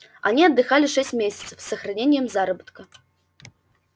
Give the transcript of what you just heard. они отдыхали шесть месяцев с сохранением заработка